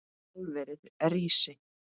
Álverið rísi!